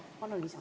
Palun lisaaega!